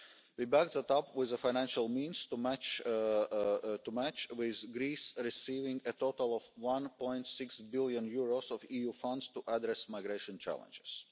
We backed up our action with the financial resources to match, with Greece receiving a total of EUR 1.6 billion of EU funds to address migration challenges.